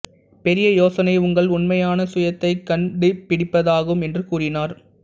பெரிய யோசனை உங்கள் உண்மையான சுயத்தைக் கண்டுபிடிப்பதாகும் என்று கூறினார்